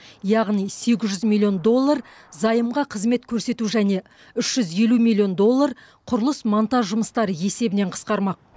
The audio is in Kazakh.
яғни сегіз жүз миллион доллар займға қызмет көрсету және үш жүз елу миллион доллар құрылыс монтаж жұмыстары есебінен қысқармақ